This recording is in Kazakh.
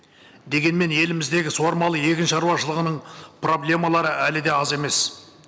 дегенмен еліміздегі суармалы егіншаруашылығының проблемалары әлі де аз емес